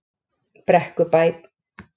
Brekkubæ